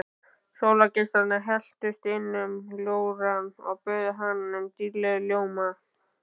Sólargeislarnir helltust inn um ljórann og böðuðu hann dýrlegum ljóma.